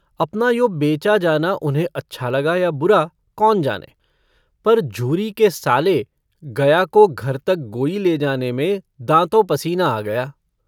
अपना यो बेचा जाना उन्हें अच्छा लगा या बुरा कौन जाने पर झूरी के साले गया को घर तक गोई ले जाने में दाँतों पसीना आ गया।